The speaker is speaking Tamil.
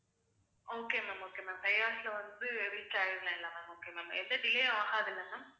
okay ma'am okay ma'am, five hours ல வந்து reach ஆயிடலாம் இல்லை ma'am okay ma'am எந்த delay ஆகாதில்ல ma'am